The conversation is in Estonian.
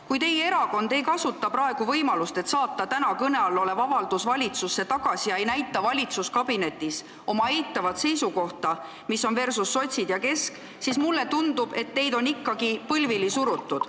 Kui teie erakond ei kasuta praegu võimalust, et saata täna kõne all olev avaldus valitsusse tagasi, ega näita valitsuskabinetis oma eitavat seisukohta versus sotsid ja Keskerakond, siis mulle tundub, et teid on ikkagi põlvili surutud.